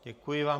Děkuji vám.